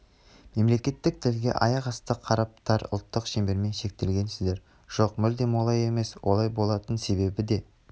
мемлекеттік тілге аяқасты қарап тар ұлттық шеңбермен шектелгенсіздер жоқ мүлдем олай емес олай болатын себебі де